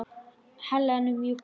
Helenu mjúk og heit.